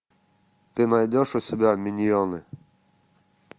ты найдешь у себя миньоны